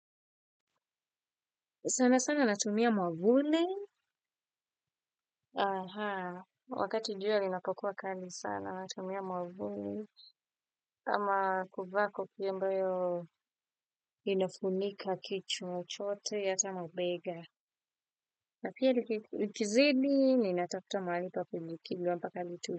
Sana sana natumia mwavuli wakati jua linapokua kali sana natumia mwavuli kama kuvaa kofia ambayo inafunika kichwa chote ata mabega na pia likizidi ninatafuta mahalipa kujikinga mpaka litue.